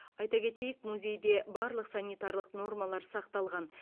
айта кетейік музейде барлық санитарлық нормалар сақталған